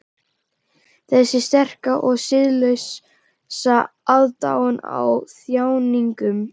Þessi sterka og siðlausa aðdáun á þjáningum.